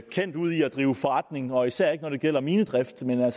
kendt ud i at drive forretning og især ikke når det gælder minedrift men man